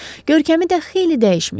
Görkəmi də xeyli dəyişmişdi.